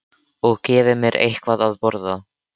Og gefi mér eitthvað að borða.